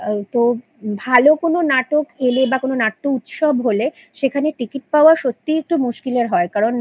তো ভালো কোনো নাটক পেলে বা কোনো নাট্য উৎসব হলে সেখানে Ticket পাওয়া সত্যিই একটু মুশকিলের হয় কারণ